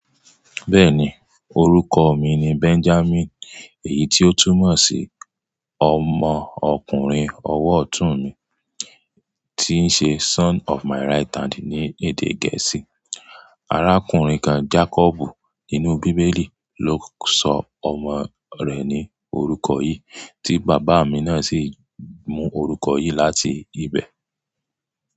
Bẹ́ẹ̀ni orúkọ mi ni Benjamin èyí tí ó tún mọ̀ sí ọmọ ọkùnrin ọwọ́ ọ̀tún mi tí ń ṣe son of my right hand ní èdè Gẹ̀ẹ́sì. Arákùnrin kan Jacob nínú bíbélì ló sọ ọmọ rẹ̀ ní orúkọ yìí tí bàbá mi náà sì mú orúkọ yìí láti ibẹ̀.